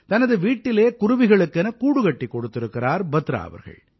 தனது வீட்டிலே குருவிகளுக்கென கூடு கட்டிக் கொடுத்திருக்கிறார் பத்ரா அவர்கள்